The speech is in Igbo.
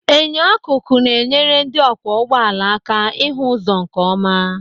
Enyo akụkụ na-enyere ndị ọkwọ ụgbọala aka ịhụ ụzọ nkeọma.